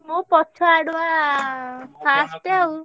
ମୁଁ ପଛଆଡୁଆ first ଆଉ।